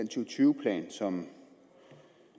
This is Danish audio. og tyve plan som